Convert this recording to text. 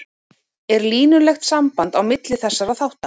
er línulegt samband á milli þessara þátta